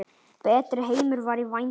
Betri heimur var í vændum.